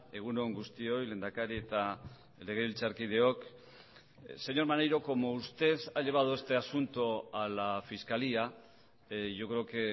egun on guztioi lehendakari eta legebiltzarkideok señor maneiro como usted ha llevado este asunto a la fiscalía yo creo que